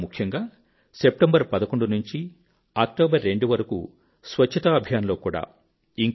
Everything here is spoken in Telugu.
ఇంకా ముఖ్యంగా 11 సెప్టెంబర్ నుంచి 02 అక్టోబర్ వరకూ స్వచ్ఛతా అభియాన్ లో కూడా